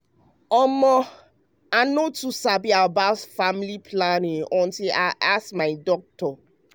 omo i no too sabi dat much about family planning method dem you sabi till i come ask my doc.